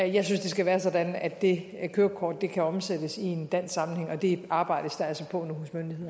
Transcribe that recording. jeg synes det skal være sådan at det kørekort kan omsættes i en dansk sammenhæng og det arbejdes der altså på nu